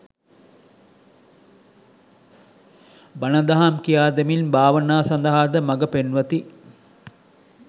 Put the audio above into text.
බණ දහම් කියාදෙමින් භාවනා සඳහාද මඟපෙන්වති.